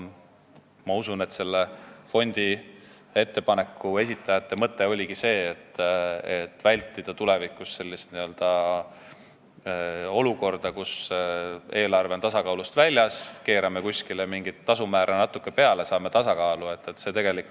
Ma usun, et selle fondiettepaneku esitajate mõte oligi vältida tulevikus sellist olukorda, kus eelarve on tasakaalust väljas ja siis keeratakse kuskile mingit tasumäära natuke peale ning eelarve läheb tasakaalu.